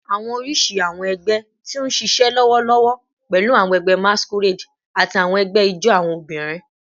Awọn oriṣi awọn ẹgbẹ ti n ṣiṣẹ lọwọlọwọ pẹlu awọn ẹgbẹ masquerade ati awọn ẹgbẹ ijó awọn obinrin